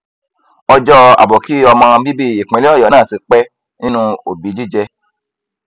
ọjọ àbòkí ọmọ bíbí ìpínlẹ ọyọ náà ti pẹ nínú òbí jíjẹ